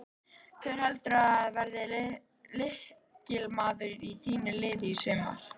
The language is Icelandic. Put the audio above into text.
Hver heldurðu að verði lykilmaður í þínu liði í sumar?